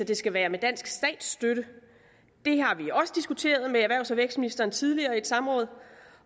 det skal være med dansk statsstøtte det har vi også diskuteret med erhvervs og vækstministeren tidligere samråd